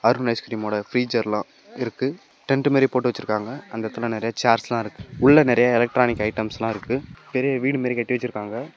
Arun ice cream ஓட ப்ரீஜர்லா இருக்கு டென்ட் மாரி போட்டு வெச்சுருக்காங்க அந்த எடத்துல நெறைய சேர்ஸ்லா இருக்கு உள்ள நெறையா எலக்ட்ரானிக் ஐட்டம்ஸ்லா இருக்கு பெரிய வீடு மாரி கட்டி வெச்சுருக்காங்க.